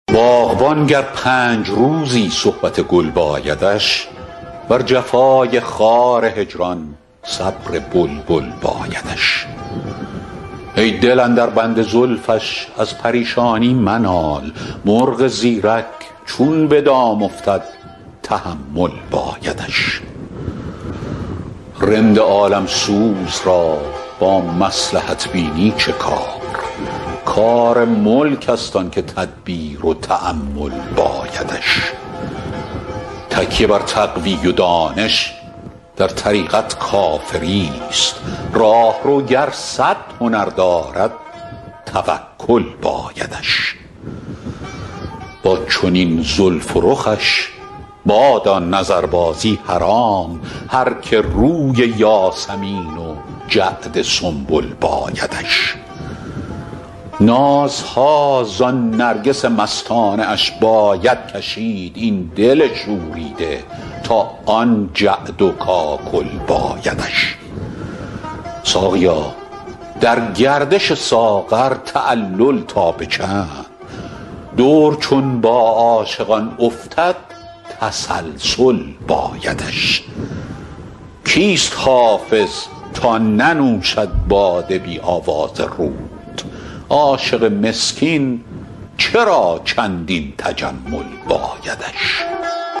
باغبان گر پنج روزی صحبت گل بایدش بر جفای خار هجران صبر بلبل بایدش ای دل اندر بند زلفش از پریشانی منال مرغ زیرک چون به دام افتد تحمل بایدش رند عالم سوز را با مصلحت بینی چه کار کار ملک است آن که تدبیر و تأمل بایدش تکیه بر تقوی و دانش در طریقت کافری ست راهرو گر صد هنر دارد توکل بایدش با چنین زلف و رخش بادا نظربازی حرام هر که روی یاسمین و جعد سنبل بایدش نازها زان نرگس مستانه اش باید کشید این دل شوریده تا آن جعد و کاکل بایدش ساقیا در گردش ساغر تعلل تا به چند دور چون با عاشقان افتد تسلسل بایدش کیست حافظ تا ننوشد باده بی آواز رود عاشق مسکین چرا چندین تجمل بایدش